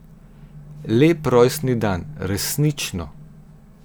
Lep rojstni dan, resnično.